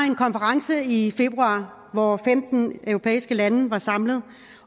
en konference i februar hvor femten europæiske lande var samlet